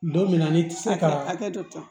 Don min na ne ti se ka hakɛ to